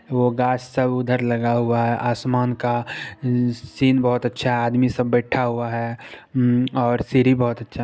ऊ गाछ सब उधर लगा हुआ है आसमान का सीन बहुत अच्छा है आदमी सब बैठा हुआ है और सीडी बहुत अच्छा--